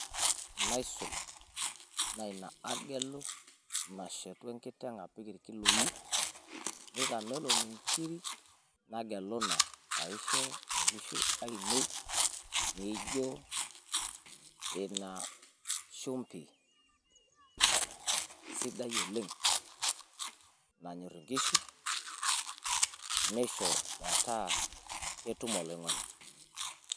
Naisul naa ina agelu nashetu enkiteng' aisho irkiloi, nitamelon inkiri nagelu ina paa aisho inkishu aainei naa ijo ina shumbi sidai oleng' nanyorr inkishu, neisho metaa ketum oloing'oni.